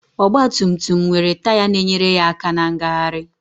Ọgbatumtum nwere taya na-enyere aka na ngagharị